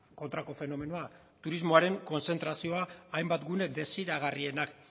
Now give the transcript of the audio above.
kontrako fenomenoa turismoaren kontzentrazioa hainbat gune desiragarrienak